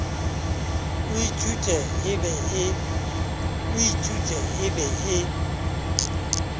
e ithutwe e be e